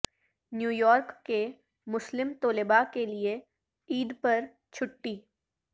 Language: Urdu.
نیویارک کے مسلم طلبا کے لیے عید پر چھٹی